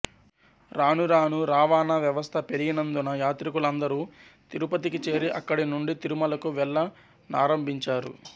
రాను రాను రవాణా వ్వవస్త పెరిగినందున యాత్రికులందరు తిరుపతికి చేరి అక్కడి నుండి తిరుమలకు వెళ్ల నారంబించారు